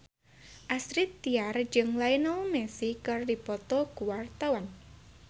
Astrid Tiar jeung Lionel Messi keur dipoto ku wartawan